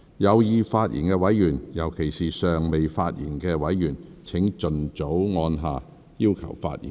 有意發言的委員，尤其是尚未發言的委員，請盡早按下"要求發言"按鈕。